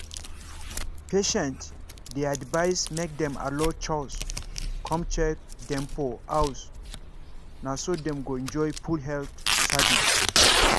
patients dey advised make dem allow chws come check dem for house na so dem go enjoy full health service.